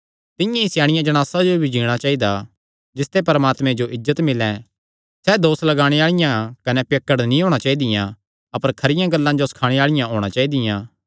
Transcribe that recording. तिंआं ई स्याणियां जणासा जो भी जीणा चाइदा जिसते परमात्मे जो इज्जत मिल्लैं सैह़ दोस लगाणे आल़ी कने पियक्कड़ नीं होणी चाइदी अपर खरियां गल्लां जो सखाणे आल़ी होणी चाइदी